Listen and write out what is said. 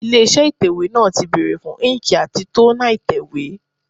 Ilé iṣẹ́ ìtẹ̀wẹ́ náà ti bèrè fún íńkì àti tónà ìtẹ̀wẹ́.